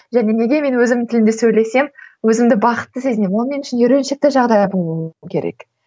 және мен өзімнің тілімде сөйлесем өзімді бақытты сезінемін ол мен үшін үйреншікті жағдайы болуы керек